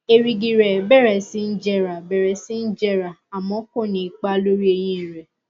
èrìgì rẹ bẹrẹ sí jẹrà bẹrẹ sí jẹrà àmọ ko ní ipa lórí eyín rẹ